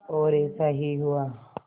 और ऐसा ही हुआ